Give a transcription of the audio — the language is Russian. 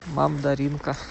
мамдаринка